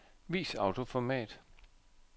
Vis autoformat.